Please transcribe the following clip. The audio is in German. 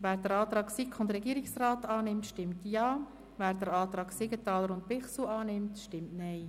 Wer den Antrag SiK/Regierung annimmt, stimmt Ja, wer den Antrag Siegenthaler/Bichsel annimmt, stimmt Nein.